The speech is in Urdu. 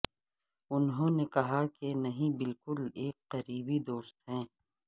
انہوں نے کہا کہ نہیں بلکہ ایک قریبی دوست ہے